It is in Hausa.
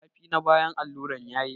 Zafi na bayan alluran yayi yawa.